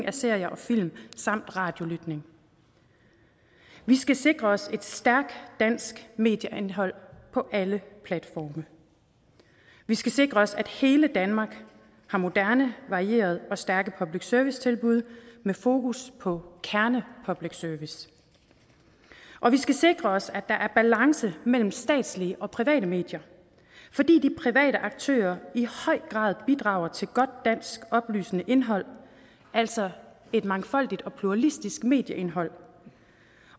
af serier og film samt radiolytning vi skal sikre os et stærkt dansk medieindhold på alle platforme vi skal sikre os at hele danmark har moderne varierede og stærke public service tilbud med fokus på kerne public service og vi skal sikre os at der er balance mellem statslige og private medier fordi de private aktører i høj grad bidrager til godt dansk oplysende indhold altså et mangfoldigt og pluralistisk medieindhold